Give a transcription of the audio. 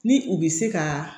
Ni u bɛ se ka